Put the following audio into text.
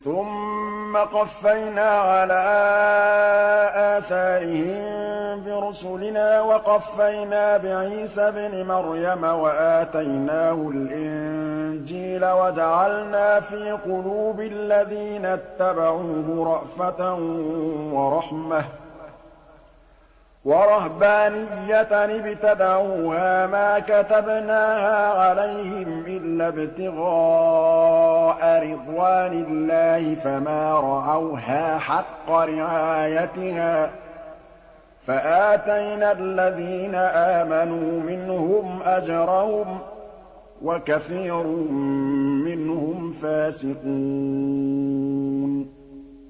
ثُمَّ قَفَّيْنَا عَلَىٰ آثَارِهِم بِرُسُلِنَا وَقَفَّيْنَا بِعِيسَى ابْنِ مَرْيَمَ وَآتَيْنَاهُ الْإِنجِيلَ وَجَعَلْنَا فِي قُلُوبِ الَّذِينَ اتَّبَعُوهُ رَأْفَةً وَرَحْمَةً وَرَهْبَانِيَّةً ابْتَدَعُوهَا مَا كَتَبْنَاهَا عَلَيْهِمْ إِلَّا ابْتِغَاءَ رِضْوَانِ اللَّهِ فَمَا رَعَوْهَا حَقَّ رِعَايَتِهَا ۖ فَآتَيْنَا الَّذِينَ آمَنُوا مِنْهُمْ أَجْرَهُمْ ۖ وَكَثِيرٌ مِّنْهُمْ فَاسِقُونَ